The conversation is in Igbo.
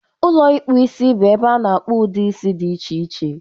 Ụlọ ịkpụ isi bụ ebe a na-akpọ udị isi dị iche iche.